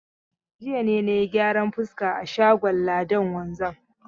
Jiya ne na yi gyaran fuska a shagon Ladan wanzam.